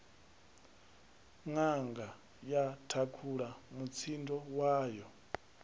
nanga ya thakhula mutsindo wayo